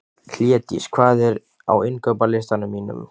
Hlédís, hvað er á innkaupalistanum mínum?